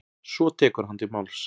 Svo tekur hann til máls: